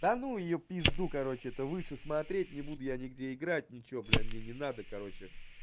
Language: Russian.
да ну её пизду короче это выше смотреть не буду я нигде играть ничего блядь мне не надо короче